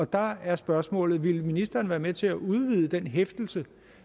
der er spørgsmålet vil ministeren være med til at udvide den hæftelse